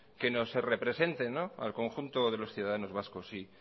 que nos representen al conjunto de los ciudadanos vascos y